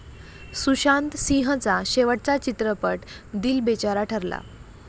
सुशांत सिंहचा शेवटचा चित्रपट दिल बेचारा ठरला.